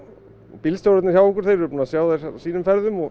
bílstjórarnir hjá okkur eru búnir að sjá þær á sínum ferðum